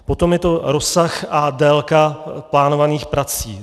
Potom je to rozsah a délka plánovaných prací.